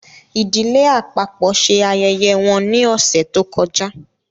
Ìdílé àpapọ ṣe ayẹyẹ wọn ni ọsẹ to kọjá